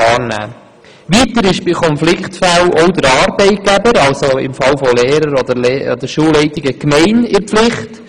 Weiter ist bei Konfliktfällen auch der Arbeitgeber, also hier die Gemeinde, in der Pflicht.